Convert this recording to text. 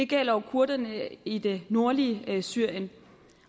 gælder kurderne i det nordlige syrien